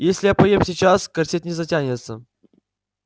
если я поем сейчас корсет не затянется